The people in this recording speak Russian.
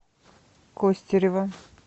костерево